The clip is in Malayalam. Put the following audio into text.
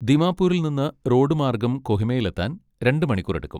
ദിമാപൂരിൽ നിന്ന് റോഡ് മാർഗം കൊഹിമയിലെത്താൻ രണ്ട് മണിക്കൂർ എടുക്കും.